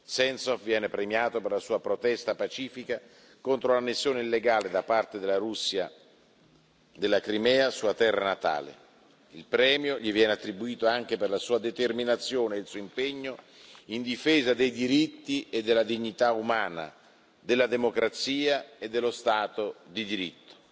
Sentsov viene premiato per la sua protesta pacifica contro l'annessione illegale, da parte della Russia, della Crimea, sua terra natale. Il premio gli viene attribuito anche per la sua determinazione e il suo impegno in difesa dei diritti e della dignità umana, della democrazia e dello Stato di diritto.